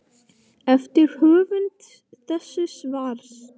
eftir höfund þessa svars.